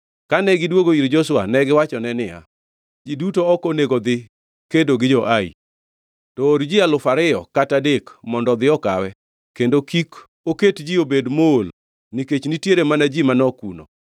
Kane gidwogo ir Joshua, negiwachone niya, “Ji duto ok onego dhi kedo gi jo-Ai. To or ji alufu ariyo kata adek mondo odhi okawe kendo kik oket ji obed mool nikech nitiere mana ji manok kuno.”